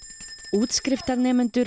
útskriftarnemendur